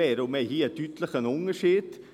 Hier gibt es einen grossen Unterschied: